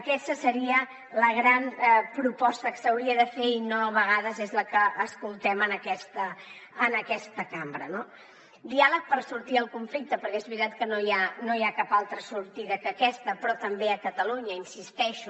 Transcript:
aquesta seria la gran proposta que s’hauria de fer i no a vegades és la que escoltem en aquesta cambra no diàleg per sortir del conflicte perquè és veritat que no hi ha cap altra sortida que aquesta però també a catalunya hi insisteixo